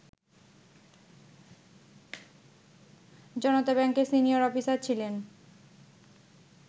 জনতাব্যাংকের senior officer ছিলেন